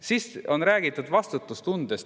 Siis on räägitud vastutustundest.